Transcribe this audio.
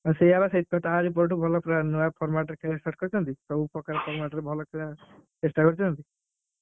ହଁ ସେଇଆ ବା ସେଇଠି ପାଇଁ ତାରି ପଟୁ ଭଲ player ନୂଆ format ରେ set କରିଛନ୍ତିଆଉ ସବୁ ପ୍ରକାର format ରେ ଭଲ ଖେଳିବାକୁ ଚେଷ୍ଟା କରିଛନ୍ତି।